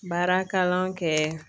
Baara kalan kɛ.